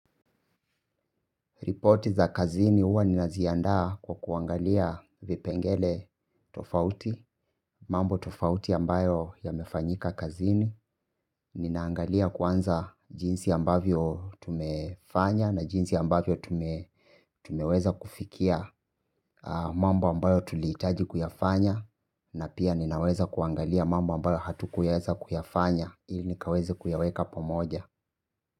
Ripoti za kazini huwa ninaziandaa kwa kuangalia vipengele tofauti. Mambo tofauti ambayo yamefanyika kazini. Ninaangalia kwanza jinsi ambavyo tumefanya na jinsi ambavyo tumeweza kufikia. Mambo ambayo tulihitaji kuyafanya. Na pia ninaweza kuangalia mambo ambayo hatukuweza kuyafanya ili nikaweze kuyaweka pamoja.